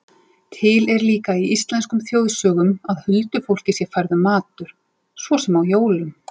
Til er líka í íslenskum þjóðsögum að huldufólki sé færður matur, svo sem á jólum.